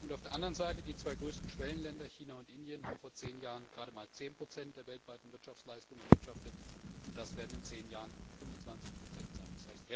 Auf der anderen Seite haben die zwei größten Schwellenländer, China und Indien, vor zehn Jahren gerade einmal 10 der weltweiten Wirtschaftsleistung erwirtschaftet, und das werden in zehn Jahren 25 sein.